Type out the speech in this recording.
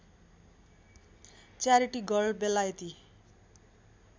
charity girl बेलायती